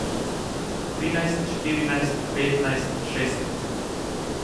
Trinajst, štirinajst, petnajst, šestnajst.